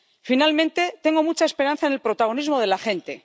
Finalmente, tengo mucha esperanza en el protagonismo de la gente.